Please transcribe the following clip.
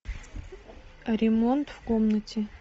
ремонт в комнате